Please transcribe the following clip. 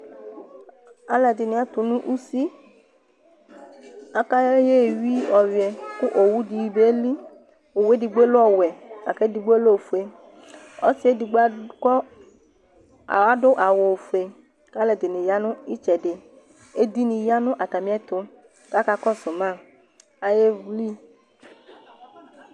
Alɛdini atunu usi Ka aya éyi ɔyuɛ Ku owu dobieli Owu dogbo lɛ owiɛ aka edigbo lɛ ofu Ɔsi ̀ɛdogbo adu awu ófué ka ɔlɔdini yanu ɩtsɛdi, édini yanu atamiɛtuKa aka kɔsu ma ayéhli